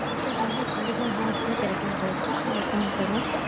message வந்து twenty four hours ல கெடைக்கும் உங்களுக்கு உங்க phone க்கு வரும்.